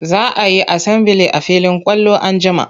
Za a yi asambili a filin kwallo an jima.